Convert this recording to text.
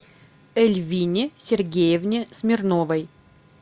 эльвине сергеевне смирновой